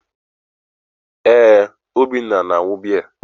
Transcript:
ee, Obinna na-añụ biya.